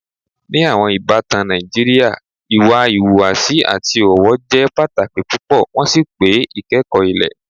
Ní àwọn ìbàtàn Nàìjíríà, ìwà ìhùwàsí àti ọ̀wọ́ jẹ́ pátàkì púpọ̀, wọn sì pe "ìkẹ́kọ̀ ilẹ̀."